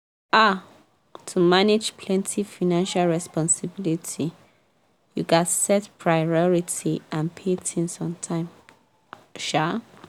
um to manage plenty financial responsibility you gats set priority and pay things on time um